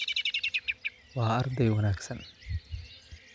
Waa arday wanaagsan